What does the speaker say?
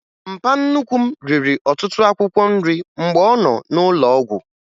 Mpa nnukwu m riri ọtụtụ akwụkwọ nrị mgbe ọ nọ n'ụlọụgwụ